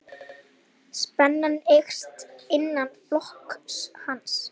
Spenna eykst innan flokks hans.